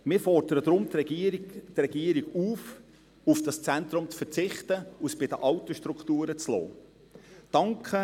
Deshalb fordern wir die Regierung auf, auf das Zentrum zu verzichten und es bei den alten Strukturen zu belassen.